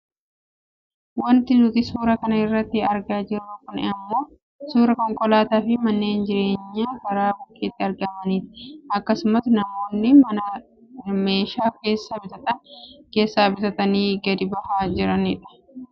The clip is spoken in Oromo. Wanti nuti suuraa kana irratti argaa jirru kun ammoo suuraa konkolaataa fi manneen ijaarramanii karaa bukkeetti argamaniiti. Akkasuma namoonnis mana meeshaa keessaa bitatan keessaa bitatanii gad bahaa kan jirani dha.